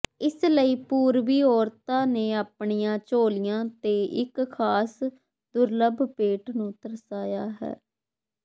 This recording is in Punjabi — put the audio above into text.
ਇਸ ਲਈ ਪੂਰਬੀ ਔਰਤਾਂ ਨੇ ਆਪਣੀਆਂ ਝੋਲੀਆਂ ਤੇ ਇਕ ਖ਼ਾਸ ਦੁਰਲੱਭ ਪੇਂਟ ਨੂੰ ਦਰਸਾਇਆ ਹੈ